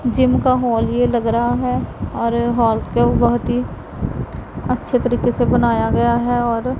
gym का hall ये लग रहा है और हॉल को बहुत ही अच्छे तरीके से बनाया गया है और--